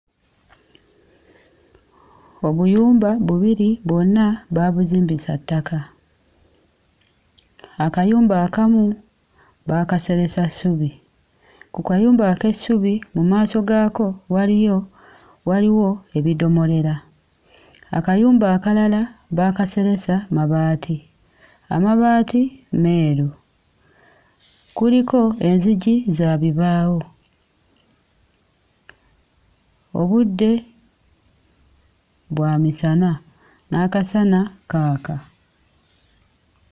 Obuyumba bubiri bwonna baabuzimbisa ttaka. Akayumba akamu baakaseresa ssubi. Ku kayumba ak'essubi mu maaso gaako waliyo waliwo ebidoomolera. Akayumba akalala baakaseresa mabaati, amabaati meeru kuliko enzigi za bibaawo. Obudde bwa misana n'akasana kaaka.